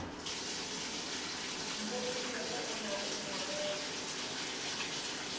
mpopilego o na le morero